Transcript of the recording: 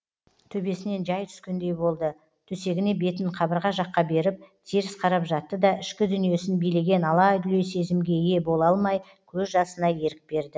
төбесінен жай түскендей болды төсегіне бетін қабырға жаққа беріп теріс қарап жатты да ішкі дүниесін билеген алай дүлей сезімге ие бола алмай көз жасына ерік берді